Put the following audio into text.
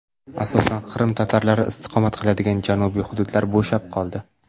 Asosan Qrim tatarlari istiqomat qiladigan janubiy hududlar bo‘shab qoldi.